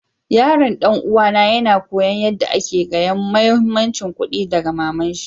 Yaron dan uwa na yana koyon yada ake gaya muhimmancin kuɗi daga mama'n shi.